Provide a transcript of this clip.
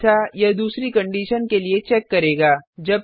अन्यथा यह दूसरी कंडिशन के लिए चेक करेगा